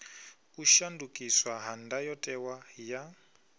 u shandukiswa ha ndayotewa ya